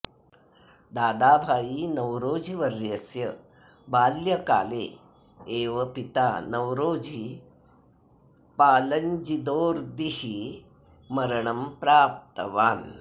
दादाभाई नवरोजिवर्यस्य बाल्यकाले एव पिता नवरोजि पालञ्जिदोर्दिः मरणं प्राप्तवान्